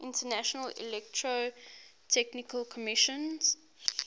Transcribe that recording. international electrotechnical commission